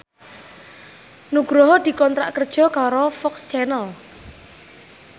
Nugroho dikontrak kerja karo FOX Channel